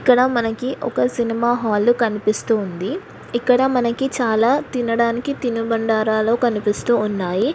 ఇక్కడ మనకి ఒక సినిమా హాలు కనిపిస్తూ ఉంది. ఇక్కడ మనకి చాలా తినడానికి తిను బండరాలు కనిపిస్తూ ఉన్నాయి.